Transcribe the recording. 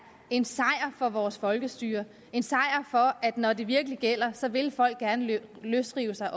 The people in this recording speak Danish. en sejr for vores folkestyre at når det virkelig gælder så vil folk gerne løsrive sig